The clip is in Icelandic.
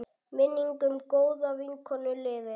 Minning um góða vinkonu lifir.